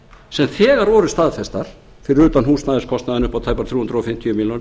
sem þegar voru staðfestar fyrir utan húsnæðiskostnaðinn upp á tæpar þrjú hundruð fimmtíu milljónir